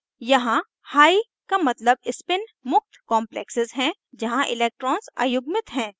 यहाँ high का मतलब spin मुक्त complexes है जहाँ electrons अयुग्मित हैं